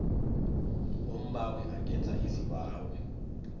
umbawi angenza isibawo